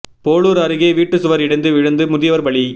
போளூர் அருகே வீட்டு சுவர் இடிந்து விழுந்து முதியவர் பலி